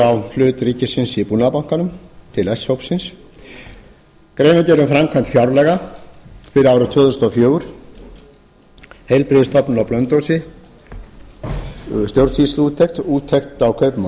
á hlut ríkisins í búnaðarbankanum til s hópsins greinargerð um framkvæmd fjárlaga fyrir árið tvö þúsund og fjögur heilbrigðisstofnun á blönduósi stjórnsýsluúttekt úttekt á kaupum og